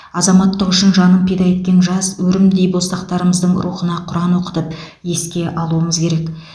азаматтық үшін жанын пида еткен жас өрімдей боздақтарымыздың рухына құран оқытып еске алуымыз керек